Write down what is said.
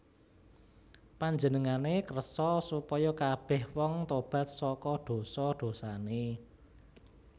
Panjenengané kersa supaya kabèh wong tobat saka dosa dosané